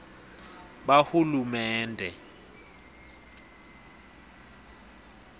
bahulumende